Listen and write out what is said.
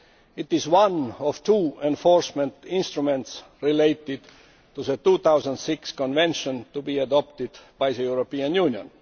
It is one of two enforcement instruments related to the 2006 Convention to be adopted by the European Union.